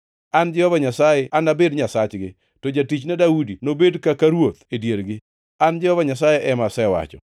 An Jehova Nyasaye anabed Nyasachgi, to jatichna Daudi nobed kaka ruoth e diergi. An Jehova Nyasaye ema asewacho.